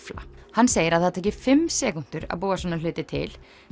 hann segir að það taki fimm sekúndur að búa svona hluti til